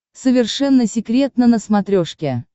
совершенно секретно на смотрешке